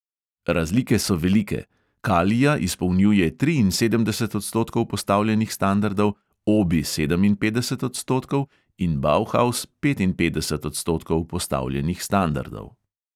Razlike so velike: kalia izpolnjuje triinsedemdeset odstotkov postavljenih standardov, obi sedeminpetdeset odstotkov in bauhaus petinpetdeset odstotkov postavljenih standardov.